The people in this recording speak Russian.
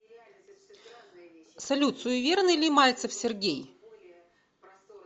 салют суеверный ли мальцев сергей